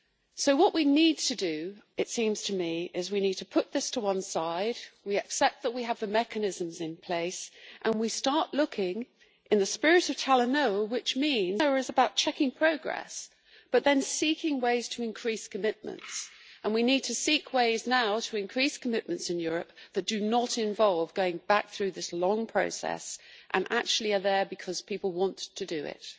So what we need to do, it seems to me, is to put this to one side, accept that we have the mechanisms in place and start looking in the spirit of Talanoa which is about checking progress but then seeking ways to increase commitments and we need to seek ways now to increase commitments in Europe that do not involve going back through this long process and are actually there because people want to do it.